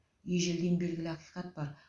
ежелден белгілі ақиқат бар